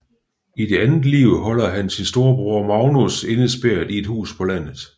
I det andet liv holder han sin storebror Magnus indespærret i et hus på landet